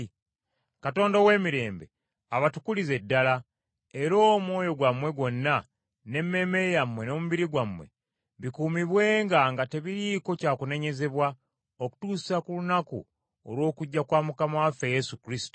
Katonda ow’emirembe abatukulize ddala, era omwoyo gwammwe gwonna, n’emmeeme yammwe n’omubiri gwammwe, bikuumibwenga nga tebiriiko kya kunenyezebwa okutuusa ku lunaku olw’okujja kwa Mukama waffe Yesu Kristo.